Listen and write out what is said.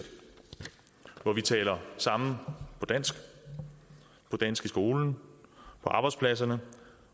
hvor vi taler sammen på dansk på dansk i skolen på arbejdspladserne